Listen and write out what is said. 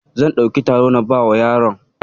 Zan ɗauki taro na bawa yaron.